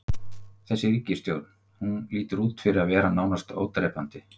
Þessi ríkisstjórn, hún lítur út fyrir að vera nánast ódrepandi?